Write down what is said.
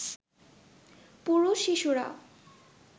পুরুষ, শিশুরা